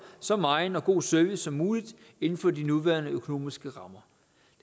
så megen og god service som muligt inden for de nuværende økonomiske rammer